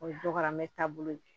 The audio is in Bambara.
O ye dɔgɔmɛ taabolo ye